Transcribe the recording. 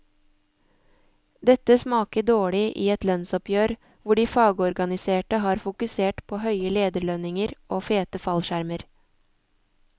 Dette smaker dårlig i et lønnsoppgjør hvor de fagorganiserte har fokusert på høye lederlønninger og fete fallskjermer.